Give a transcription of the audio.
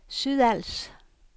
Sydals